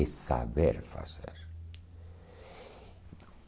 É saber fazer.